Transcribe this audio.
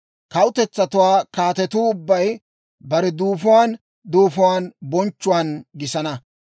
«Kawutetsatuwaa kaatetuu ubbay bare duufuwaan duufuwaan bonchchuwaan gisana.